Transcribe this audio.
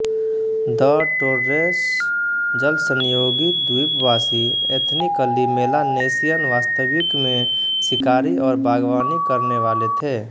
the Torres जलसंयोगी द्वीपवासी ethnically Melanesian वास्तविक में शिकारी और बागवानी करने वाले थे